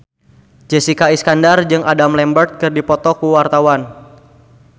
Jessica Iskandar jeung Adam Lambert keur dipoto ku wartawan